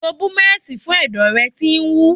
Lo búmẹ̀sì fún ẹ̀dọ̀ rẹ tí ń wú.